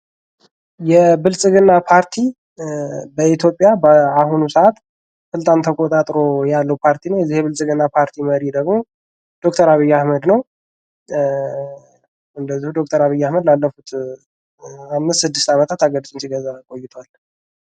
የብልጽግና ፓርቲ በኢትዮጵያ በአሁኑ ሰአት በጣም ተቆጣጥሮ ያለ ፓርቲ ነው። የብልጽግና ፓርቲ መሪ ደግሞ ዶክተር አብይ አህመድ ነው። እንደዚሁ ዶክተር አብይ አህመድ ላለፉት 5፥6 አመታት ሀገሪቱን ሲገዛ ቆይቷል።